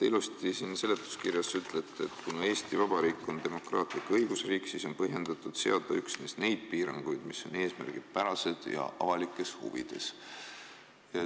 Te seletuskirjas ütlete ilusti, et kuna Eesti Vabariik on demokraatlik õigusriik, siis on põhjendatud seada üksnes neid piiranguid, mis on eesmärgipärased ja avalikes huvides.